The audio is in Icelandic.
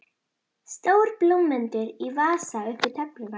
Stór blómvöndur í vasa upp við töfluna.